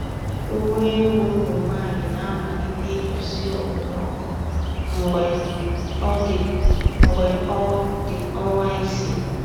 Nwa ewu ụmụ nwanyị na-amalite igosi okpomọkụ mgbe ọ dị ọnwa isii.